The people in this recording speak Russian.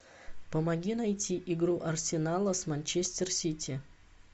помоги найти игру арсенала с манчестер сити